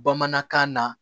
Bamanankan na